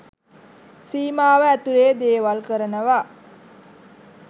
සීමාව ඇතුළෙ දේවල් කරනවා.